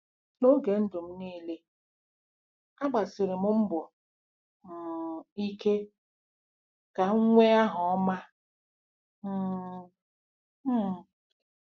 N'oge ndụ m niile, agbasiri m mbọ um ike ka m nwee aha ọma um. um